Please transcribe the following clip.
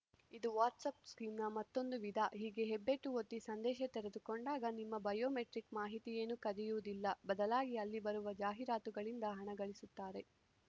ಇದು ವಾಟ್ಸ‌ಆ್ಯಪ್‌ ಸ್ಕ್ಯೂ ನ ಮತ್ತೊಂದು ವಿಧ ಹೀಗೆ ಹೆಬ್ಬೆಟ್ಟು ಒತ್ತಿ ಸಂದೇಶ ತೆರೆದುಕೊಂಡಾಗ ನಿಮ್ಮ ಬಯೋಮೆಟ್ರಿಕ್‌ ಮಾಹಿತಿಯೇನೂ ಕದಿಯುವುದಿಲ್ಲ ಬದಲಾಗಿ ಅಲ್ಲಿ ಬರುವ ಜಾಹೀರಾತುಗಳಿಂದ ಹಣಗಳಿಸುತ್ತಾರೆ